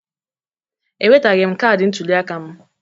Enwetaghị m kaadị ntụliaka m.